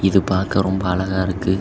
இது பாக்க ரொம்ப அழகா இருக்கு.